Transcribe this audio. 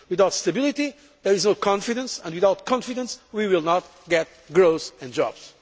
Without stability there is no confidence and without confidence we will not get growth and